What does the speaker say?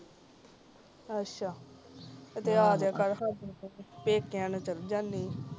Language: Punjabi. ਅੱਛਾ ਸਾਡੇ ਵਾਲ ਪੇਕਿਆਂ ਨੂੰ ਚਲ ਜਨੈ ਆ